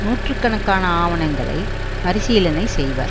நூற்று கணக்கான ஆவணங்களை பரிசீலனை செய்வர்